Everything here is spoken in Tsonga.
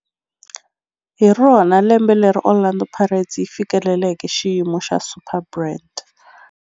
Hi rona lembe leri Orlando Pirates yi fikeleleke xiyimo xa Superbrand.